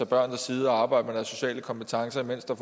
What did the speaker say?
børnene sidde og arbejde med deres sociale kompetencer mens der